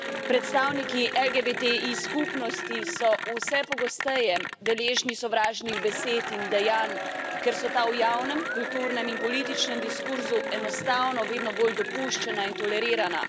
Predstavniki LGBTI skupnosti so vse pogosteje deležni sovražnih besed in dejanj, ker so ta v javnem, kulturnem in političnem diskurzu enostavno vedno bolj dopuščana in tolerirana.